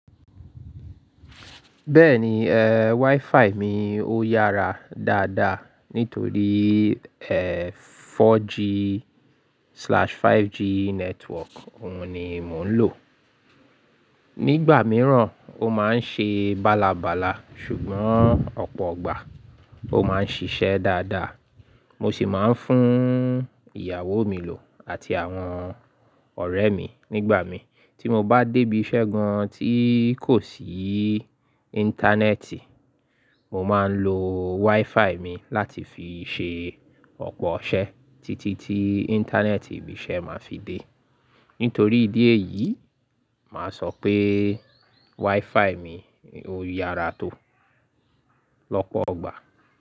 Bẹ́ẹ̀ni, eh, WiFi mi ó yára dáadáa nítorí, ẹ, 4G/5G network òun ni mò ń lò. Nígbà mìíràn ó máa ń ṣe bálabàla ṣùgbọ́n ọ̀pọ̀ igbà ó máa ń ṣiṣẹ́ dáadáa. Mo sì máa ń fún ìyàwó mi lò àti àwọn ọ̀rẹ́ mi nígbà mi tí mo bá débi iṣẹ́ gan tí kò sí íńtánẹ́ẹ̀tì. Mo máa ń lo WiFi mi láti fi ṣe ọ̀pọ̀ iṣẹ́ títí tí íńtánẹ́ẹ̀tì ibi iṣẹ́ máa fi dé. Nítorí ìdí èyí, màá sọ pé WiFi mi ó yára tó lọ́pọ̀ ọgbà.